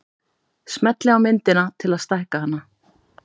Smellið á myndina til að stækka hana.